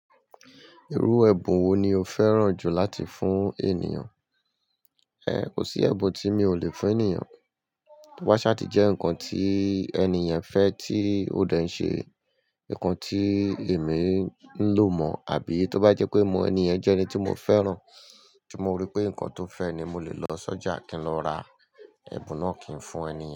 Irú ẹbun wo ni o fẹ́ràn jù láti fún ènìyàn? Kò sí ẹbun tí mi ò lè fún ènìyàn. To ba sa ti jẹ́ nǹkan tí ènìyàn fẹ́ tí ó dẹ̀ ń ṣe, nǹkan tí èmi ń lò mọ̀, àbí tó bá jẹ́ pé mo mọ ènìyàn jẹ́ ẹni tí mo fẹ́ràn tí mo rí pé nǹkan tó fẹ́ ni mo lè lọ sọ́jà kí n lọ ra, ẹbun náà kí n fún ènìyàn.